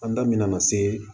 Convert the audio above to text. An da mɛna ka se